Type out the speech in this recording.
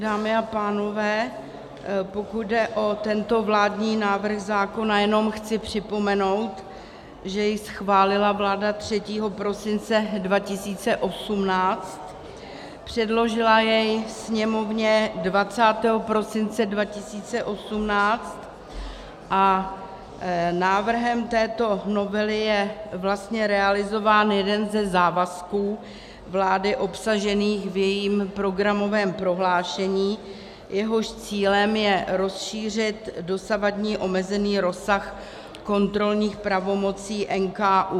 Dámy a pánové, pokud jde o tento vládní návrh zákona, jenom chci připomenout, že jej schválila vláda 3. prosince 2018, předložila jej Sněmovně 20. prosince 2018 a návrhem této novely je vlastně realizován jeden ze závazků vlády obsažených v jejím programovém prohlášení, jehož cílem je rozšířit dosavadní omezený rozsah kontrolních pravomocí NKÚ.